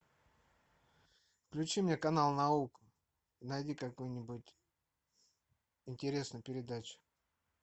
включи мне канал наука найди какую нибудь интересную передачу